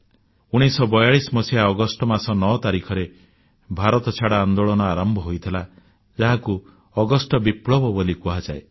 1942 ମସିହା ଅଗଷ୍ଟ ମାସ 9 ତାରିଖରେ ଭାରତଛାଡ଼ ଆନ୍ଦୋଳନ ଆରମ୍ଭ ହୋଇଥିଲା ଯାହାକୁ ଅଗଷ୍ଟ ବିପ୍ଳବ ବୋଲି କୁହାଯାଏ